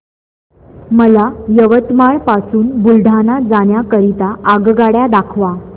मला यवतमाळ पासून बुलढाणा जाण्या करीता आगगाड्या दाखवा